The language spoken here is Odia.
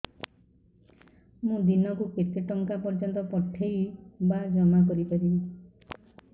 ମୁ ଦିନକୁ କେତେ ଟଙ୍କା ପର୍ଯ୍ୟନ୍ତ ପଠେଇ ବା ଜମା କରି ପାରିବି